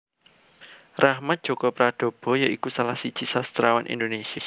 Rachmat Djoko Pradopo ya iku salah siji sastrawan Indonesia